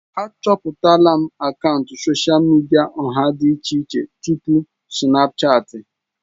Achọpụtala m akaụntụ sosha midia ọha dị iche iche tupu Sinapụchati.